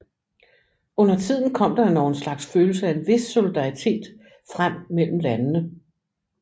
Undertiden kom der endog en slags følelse af en vis solidaritet frem mellem landene